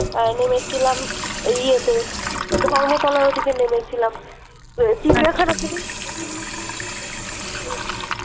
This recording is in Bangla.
আহ নেমেছিলাম ওই ইয়েতে ধর্মতলার ওইদিকে নেমেছিলাম তো চিড়িয়াখানা তে